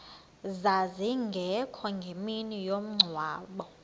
zazingekho ngemini yomngcwabo